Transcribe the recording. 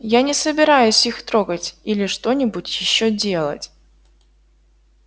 я не собираюсь их трогать или что-нибудь ещё делать